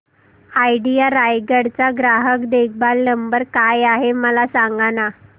idea Raigad चा ग्राहक देखभाल नंबर काय आहे मला सांगाना